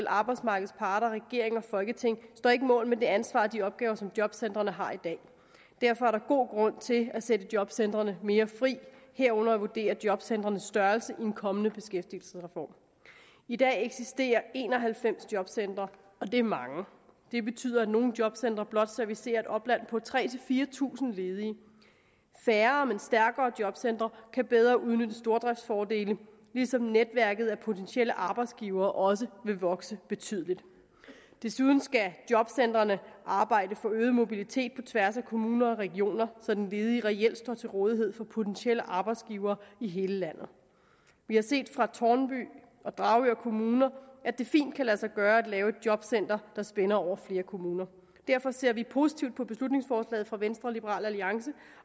arbejdsmarkedets parter regering og folketing står ikke mål med det ansvar og de opgaver som jobcentrene har i dag derfor er der god grund til at sætte jobcentrene mere fri herunder at vurdere jobcentrenes størrelse i en kommende beskæftigelsesreform i dag eksisterer der en og halvfems jobcentre og det er mange det betyder at nogle jobcentre blot servicerer et opland på tre tusind fire tusind ledige færre men stærkere jobcentre kan bedre udnytte stordriftsfordele ligesom netværket af potentielle arbejdsgivere også vil vokse betydeligt desuden skal jobcentrene arbejde for øget mobilitet på tværs af kommuner og regioner så den ledige reelt står til rådighed for potentielle arbejdsgivere i hele landet vi har set fra tårnby og dragør kommuner at det fint kan lade sig gøre at lave et jobcenter der spænder over flere kommuner derfor ser vi positivt på beslutningsforslaget fra venstre og liberal alliance